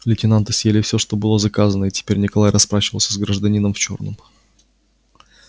лейтенанты съели всё что было заказано и теперь николай расплачивался с гражданином в чёрном